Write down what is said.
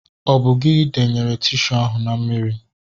Ọ bụ gị denyere tishu ahu na mmiri?